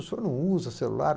O senhor não usa celular?